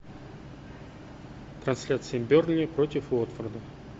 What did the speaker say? трансляция бернли против уотфорда